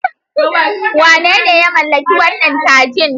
Wane ne ya mallaki wannan kajin?